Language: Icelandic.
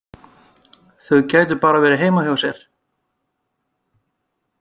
Þau gætu bara verið heima hjá sér!